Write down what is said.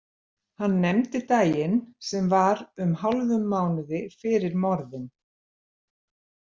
Hann nefndi daginn sem var um hálfum mánuði fyrir morðin.